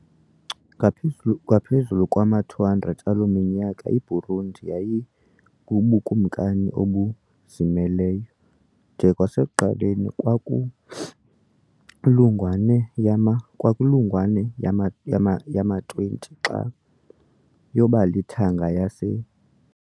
Ngaphezulu ngaphezulu kwama-200 aloo minyaka, iBurundi yayibubukumkani obuzimeleyo, de kwasekuqaleni kwankulungwane yama kwankulungwane yama yama-20, xa yaba lithanga lase